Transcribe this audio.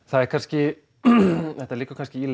það er kannski þetta liggur kannski í